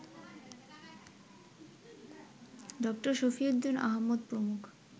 ড. শফিউদ্দিন আহমদ প্রমুখ